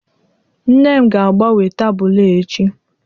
nne m ga-agbanwe tabulu a echi